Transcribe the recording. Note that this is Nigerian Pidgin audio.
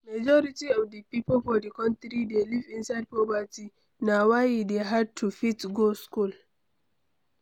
Majority of di pipo for di country dey live inside poverty, na why e dey hard to fit go school